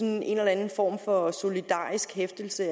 en eller anden form for solidarisk hæftelse